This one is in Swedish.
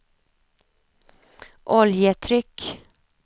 oljetryck